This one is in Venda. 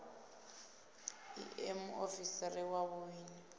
i ṋee muofisiri wa vhuun